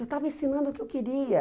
Eu estava ensinando o que eu queria.